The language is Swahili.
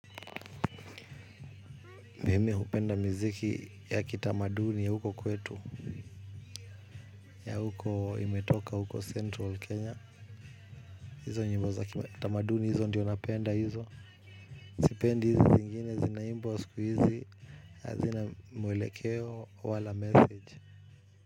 Mimi hupenda miziki ya kitamaduni ya huko kwetu. Ya huko imetoka huko central kenya. Hizo nyimbo za kitamaduni hizo ndiyo napenda hizo. Sipendi hizi zingine zinaimbwa siku hizi. Hazina mwelekeo wala message.